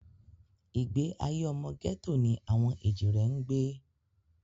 Ìgbé ayé ọmọ gẹ́tò ni àwọn èjìrẹ́ ń gbé